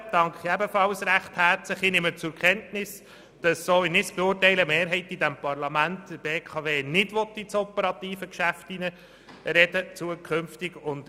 Den anderen danke ich ebenfalls recht herzlich und nehme zur Kenntnis, dass die Mehrheit dieses Parlaments nach meiner Beurteilung der BKW zukünftig nicht ins operative Geschäft hineinreden will.